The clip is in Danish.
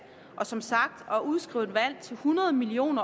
og som sagt udskrive et valg til hundrede million